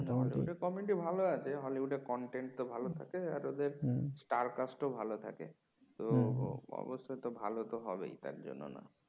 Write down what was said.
hollywood comedy ভালো আছে hollywood content তো ভালো থাকে আর ওদের star cast ও ভালো থাকে তো অবশ্যই ভালো তো হবেই তার জন্য না তার